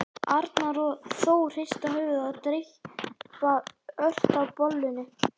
Arnar og Þór hrista höfuðið og dreypa ört á bollunni.